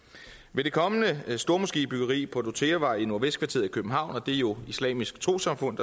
med det kommende stormoskébyggeri på dortheavej i nordvestkvarteret i københavn og det er jo islamisk trossamfund